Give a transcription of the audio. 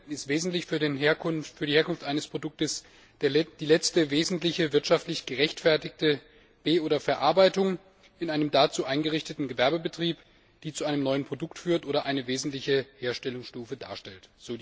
Heute ist wesentlich für die Herkunft eines Produkts die letzte wesentliche wirtschaftlich gerechtfertigte Be oder Verarbeitung in einem dazu eingerichteten Gewerbebetrieb, die zu einem neuen Produkt führt oder eine wesentliche Herstellungsstufe darstellt.